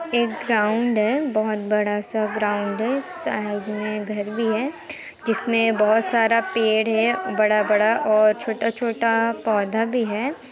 एक ग्राउंड है। बोहोत बड़ा सा ग्राउंड है। साइड में एक घर भी है जिसमें बोहोत सारा पेड़ है बड़ा-बड़ा और छोटा-छोटा पौधा भी है ।